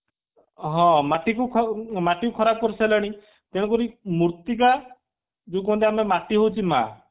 ହଁ ମାଟିକୁ ଖ ଖରାପ କରି ସାରିଲାଣି ତେଣୁ କରି ମୂର୍ତ୍ତିକା ଯୋଉ କହନ୍ତି ଆମର ମାଟି ହଉଛି ମା